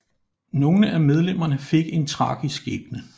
Nogle af medlemerne fik en tragisk skæbne